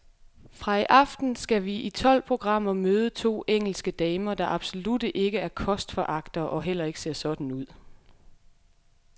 Fra i aften skal vi i tolv programmer møde to engelske damer, der absolut ikke er kostforagtere og heller ikke ser sådan ud.